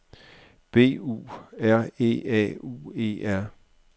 B U R E A U E R